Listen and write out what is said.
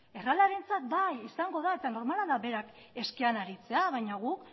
errealarentzat bai izango da eta normala da bera eske aritzea baina guk